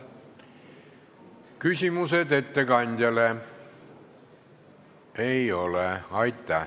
Küsimusi ettekandjale ei ole.